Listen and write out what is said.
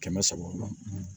Kɛmɛ saba la